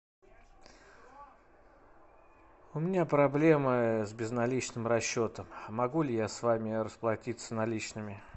у меня проблемы с безналичным расчетом могу ли я с вами расплатиться наличными